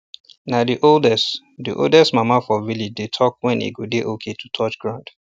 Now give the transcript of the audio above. na the oldest the oldest mama for village dey talk when e go dey okay to touch ground